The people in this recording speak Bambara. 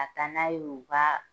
Ka taa n'a ye u ka